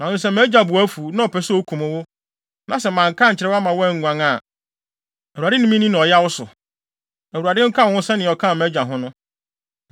Nanso sɛ mʼagya bo afuw, na ɔpɛ sɛ okum wo, na sɛ manka ankyerɛ wo amma woanguan a Awurade ne minni no ɔyaw so. Awurade nka wo ho sɛnea ɔkaa mʼagya ho no.